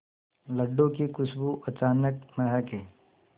लड्डू की खुशबू अचानक महके